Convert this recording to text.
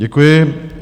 Děkuji.